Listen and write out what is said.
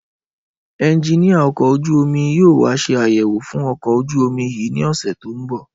Ẹnjiníà ọkọ̀ ojú-omi yóò wá ṣe àyẹ̀wò fún ọkọ̀ ojú-omi yìí ní ọ̀sẹ̀ tó ń bọ̀